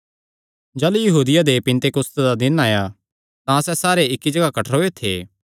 जाह़लू यहूदियां दे पिन्तेकुस्त दा दिन आया तां सैह़ सारे इक्की जगाह कठ्ठरोयो थे